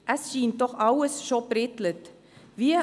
Es scheint doch alles schon eingefädelt zu sein.